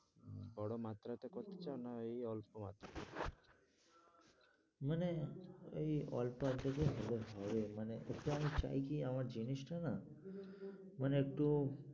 বড়ো মাত্রাতে করছো না এই অল্প মাত্রায়? মানে এই অল্প অর্ধেকই হবে, হবে মানে একটু